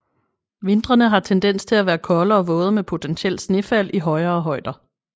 Vintrene har tendens til at være kolde og våde med potentielt snefald i højere højder